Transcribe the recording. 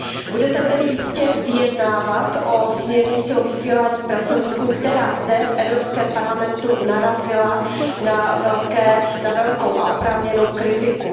Budete tedy jistě vyjednávat o směrnici o vysílání pracovníků, která zde v Evropském parlamentu narazila na velkou a oprávněnou kritiku.